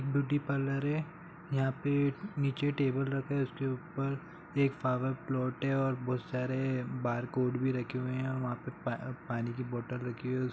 beauty parlour है यहाँ पे नीचे टेबल रखा है उसके ऊपर एक फ्लावर पॉट है और बहुत सारे बारकोड़ भी रखे हुए हैं और वहां पर पा पानी की बोतल रखी हुई है उस --